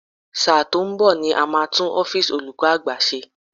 Sáà tó ń bò ni a máa tú ọ́físì olúkọ́ àgbà ṣe.